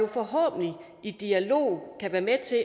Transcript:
forhåbentlig i dialog kan være med til